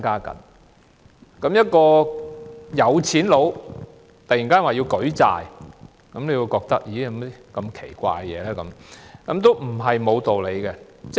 當一個富豪突然說要舉債，大家也會感到很奇怪，但這並非完全沒有道理的。